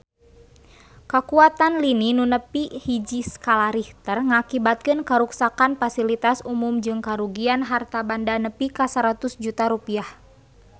Kakuatan lini nu nepi hiji skala Richter ngakibatkeun karuksakan pasilitas umum jeung karugian harta banda nepi ka 100 juta rupiah